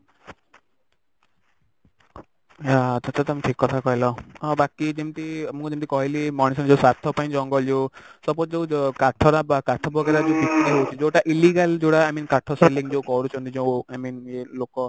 ଆ ଆଚ୍ଛା ତମେ ଠିକ କଥା କହିଲ ଆଉ ବାକି ଯେମିତି ମୁଁ ଯେମିତି କହିଲି ମଣିଷ ନିଜ ସ୍ଵାର୍ଥ ପାଇଁ ଜଙ୍ଗଲ ଯଉ suppose ଯଉ କାଠ ଟା କାଠ वगेरा ଯଉ ବିକ୍ରି ହଉଛି ଯଉଟା illegal ଯଉଟା i mean କାଠ selling ଯଉ କରୁଛନ୍ତି ଯଉ i mean ଇଏ ଲୋକ